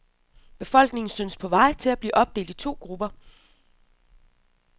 Befolkningen synes på vej til at blive opdelt i to grupper.